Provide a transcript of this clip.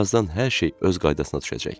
Birazdan hər şey öz qaydasına düşəcək.